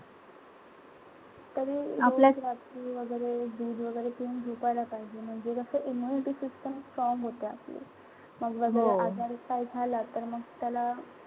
तरी रोज रात्री वगैरे दूध वगैरे घेऊन झोपायला पाहिजे म्हणजे कस immunity system strong होते आपली. मग जर का आजार झाला तर मग त्याला,